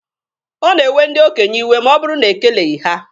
Ọ na-ewe ndị okenye iwe ma ọ bụrụ na e keleghi ha.